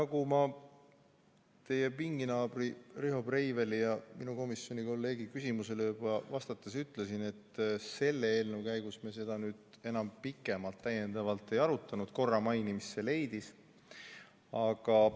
Nagu ma teie pinginaabri ja minu komisjoni kolleegi Riho Breiveli küsimusele vastates ütlesin, siis selle eelnõu käigus me seda nüüd enam pikemalt ei arutanud, aga seda mainiti korra.